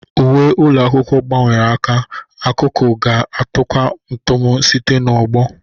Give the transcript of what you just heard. Uwe ụlọ akwụkwọ gbanwere aka, akụkọ ga-atakwu ntamu site n'ọgbọ.